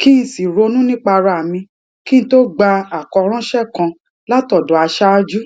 kí n sì ronú nípa ara mi kí n tó gba àkọránṣẹ kan látọdọ aṣáájú